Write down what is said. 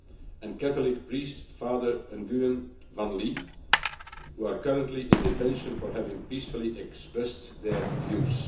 and Catholic priest, Father Nguyen Van Ly, who are currently in detention for having peacefully expressed their views.